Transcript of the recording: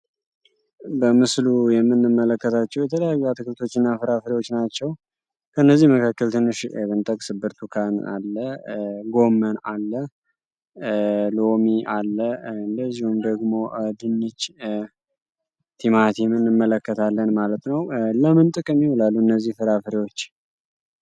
በምስሉ የምንመለከታቸው የተለያዩ አትክልቶች እና ፍራፍሪዎች ናቸው፡፡ ከእነዚህ መካከል ትንሽ ኤቨንጠቅስ ብርቱካን አለ ጎመን አለ ሎሚ አለ እለዚውን ደግሞ ድንች ቲማቲ ምንመለከታለን ማለት ነው ለምንጥቅ ከሚወላሉ እነዚህ ፍራፍሪዎች....